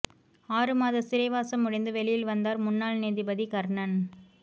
ஆறு மாத சிறைவாசம் முடிந்து வெளியில் வந்தார் முன்னாள் நீதிபதி கர்ணன்